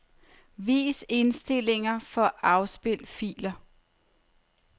Vis indstillinger for afspil filer.